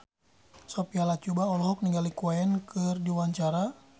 Sophia Latjuba olohok ningali Queen keur diwawancara